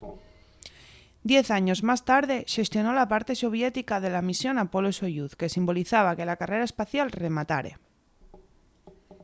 diez años más tarde xestionó la parte soviética de la misión apolo-soyuz que simbolizaba que la carrera espacial rematare